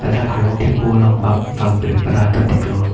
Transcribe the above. dak harlong thepo along bap vang pre pra ta thek long.